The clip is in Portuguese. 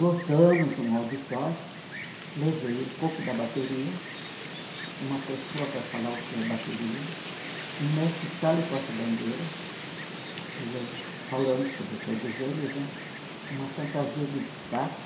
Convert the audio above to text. Lotamos um auditório, levei um pouco da bateria, uma pessoa para falar o que é bateria, um mestre sala e porta-bandeira, e eu falando sobre todos eles né, uma fantasia de destaque,